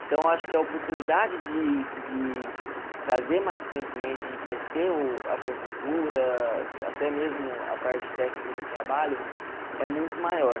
Então, eu acho que a oportunidade de de trazer mais conhecimento, enriquecer o a sua cultura, até mesmo a parte técnica do trabalho, é muito maior.